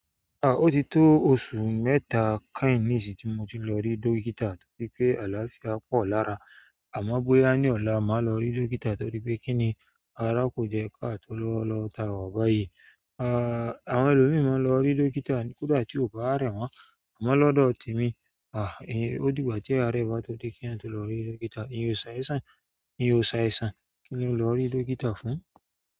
O ti tó oṣù mẹ́ta kẹhìn ni ìsì tí mo ti lọ rí dókítà torí pé àlàáfíà pọ̀ lára. Àmọ́ bóyá ní ola màá lọ rí dókítà torí pé kí ni ará kò jẹ́ ká tó lọ lọ táwọ̀ báyìí. Àwọn ẹlòmíi máa n lọ rí dókítà kódà tí ó bá rẹ won, àmọ́ lọ́dọ́ temí, ó dìgbà tí aare ba to de kí èèyàn tó lọ rí dókítà. Ìyan sáìsàn kí ni n lọ rí dókítà fún?